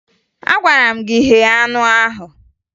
Agwara m gị ghee anụ ahụ!